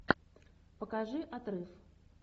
покажи отрыв